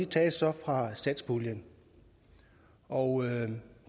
tages så fra satspuljen og